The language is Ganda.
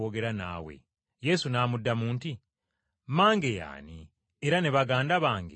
Yesu n’amuddamu nti, “Mmange ye ani era ne baganda bange be baani?”